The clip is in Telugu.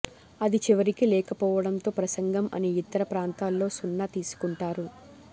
అది చివరికి లేకపోవడంతో ప్రసంగం అన్ని ఇతర ప్రాంతాల్లో సున్నా తీసుకుంటారు